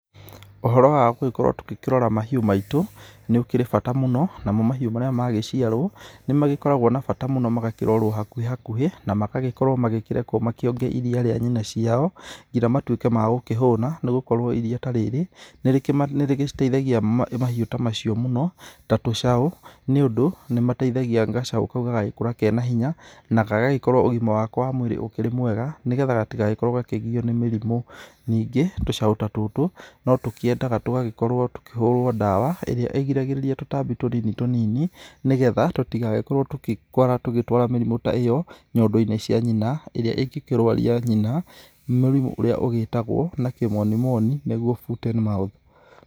Ũhoro wa gũgĩkorwo tũgĩkĩrora mahiũ maitũ nĩ ũkĩrĩ bata mũno, namo mahiũ marĩa magĩciarwo nĩmagĩkoragwo na bata mũno magakĩrorwo hakuhĩ hakuhĩ, magagĩkorwo makĩrekwo makĩonge iria rĩa nyina ciao, ngĩnya magĩtuĩke ma gũkĩhũna, nĩgũkorwo iria ta rĩrĩ nĩrĩgĩciteithagia mahiũ ta macio mũno, ta tũcaũ nĩũndũ nĩmateithagia gacaũ kau gagagĩkũra kena hinya na gagagĩkorwo ũgima wako wa mwĩri ũkĩrĩ mwega nĩgetha gatigagĩkorwo gakĩgio nĩ mĩrimũ. Ningĩ, tũcau ta tũtũ tũkĩendaga tũgagĩkorwo tũkĩhũrwo ndawa ĩrĩa ĩgiragĩrĩria tũtabi tũnini tũnini nĩgetha tũtigagĩkorwo tugĩtwara mĩrimũ ta ĩyo nyondo-inĩ cia nyina, ĩrĩa ĩngĩkĩrwaria nyina mũrimũ ũrĩa ũgĩtagwo na kĩmonimoni nĩguo foot and mouth.